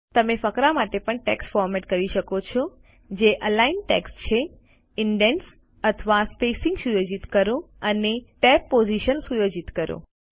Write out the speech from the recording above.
તમે ફકરા માટે પણ ટેક્સ્ટ ફોરમેટ કરી શકો છો જે અલાઇન ટેક્સ્ટ છે ઇન્ડેન્ટ્સ અથવા સ્પેસિંગ સુયોજિત કરો અને ટેબ પોઝીશન્સ સુયોજિત કરો